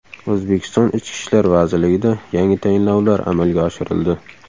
O‘zbekiston ichki ishlar vazirligida yangi tayinlovlar amalga oshirildi.